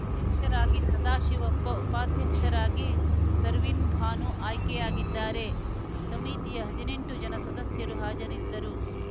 ಅಧ್ಯಕ್ಷರಾಗಿ ಸದಾಶಿವಪ್ಪ ಉಪಾಧ್ಯಕ್ಷರಾಗಿ ಸರ್ವಿನ್‌ ಭಾನು ಆಯ್ಕೆಯಾಗಿದ್ದಾರೆ ಸಮಿತಿಯ ಹದಿನೆಂಟು ಜನ ಸದಸ್ಯರು ಹಾಜರಿದ್ದರು